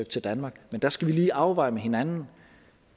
til danmark men der skal vi lige afveje med hinanden